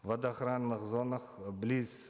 в водоохранных зонах близ